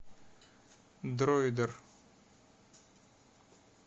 дроидер